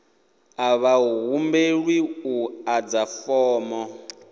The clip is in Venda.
a vha humbelwi u ḓadza fomo